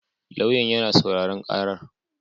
Lauyan yana sauraron karar